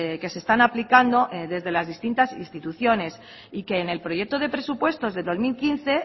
que se están aplicando desde las distintas instituciones y que en el proyecto de presupuestos del dos mil quince